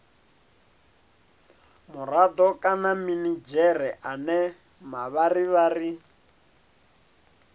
murado kana minidzhere ane mavharivhari